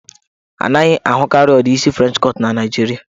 A naghị ahụkarị ụdị isi French cut na Naijiria.